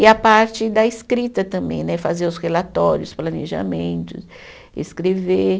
E a parte da escrita também né, fazer os relatórios, planejamentos, escrever.